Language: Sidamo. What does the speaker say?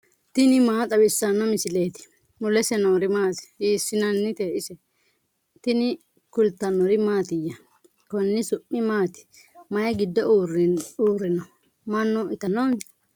tini maa xawissanno misileeti ? mulese noori maati ? hiissinannite ise ? tini kultannori mattiya? konni su'mi maatti? may giddo uurinno? manna ittanonni?